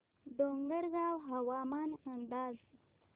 डोंगरगाव हवामान अंदाज